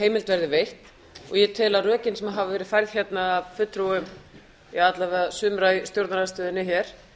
heimild verði veitt og ég tel að rökin sem hafa verið færð hérna af fulltrúum alla vega sumra í stjórnarandstöðunni hér